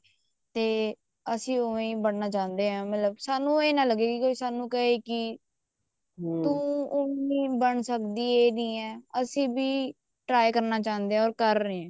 ਤੇ ਅਸੀਂ ਉਵੇਂ ਹੀ ਬਣਨਾ ਚਾਹੁੰਦੇ ਹਾਂ ਮਤਲਬ ਸਾਨੂੰ ਇਹ ਨਾ ਲੱਗੇ ਵੀ ਸਾਨੂੰ ਕਹੇ ਕੋਈ ਤੂੰ ਉਹ ਨੀ ਬਣ ਸਕਦੀ ਇਹ ਨਹੀਂ ਹੈ ਅਸੀਂ ਵੀ try ਕਰਨਾ ਚਾਹੁੰਦੇ ਹਾਂ or ਕਰ ਰਹੇ ਹਾਂ